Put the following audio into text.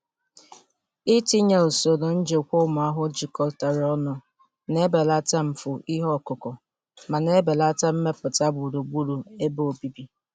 Itinye usoro njikwa ụmụ ahụhụ jikọtara ọnụ na-ebelata mfu ihe ọkụkụ ma na-ebelata mmetụta gburugburu ebe obibi.